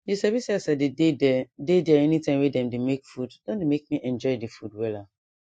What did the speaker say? you sabi say as i dey dey there dey there anytime wey dem dey make food don dey make me enjoy the food wella